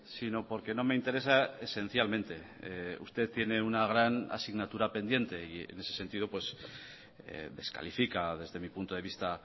sino porque no me interesa esencialmente usted tiene una gran asignatura pendiente y en ese sentido descalifica desde mi punto de vista